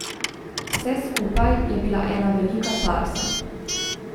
Vse skupaj je bila ena velika farsa.